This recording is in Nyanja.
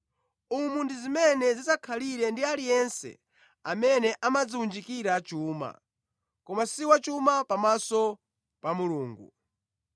“Umu ndi mmene zidzakhalire ndi aliyense amene amadziwunjikira chuma, koma si wachuma pamaso pa Mulungu.”